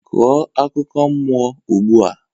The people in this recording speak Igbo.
Kwuo akụkọ mmụọ ugbu a